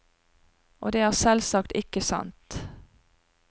Og det er selvsagt ikke sant.